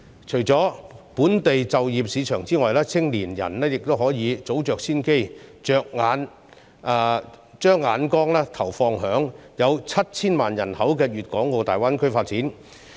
除了本地就業市場外，青年人亦可以早着先機，把眼光投放於有 7,000 萬人口的粵港澳大灣區發展。